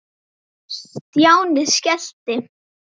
Stjáni skellti